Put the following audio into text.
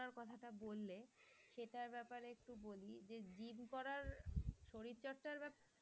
কথা টা বললে সেটার ব্যাপারে একটু বলি যে gym করার শরীর চর্চার ব্যাপারে,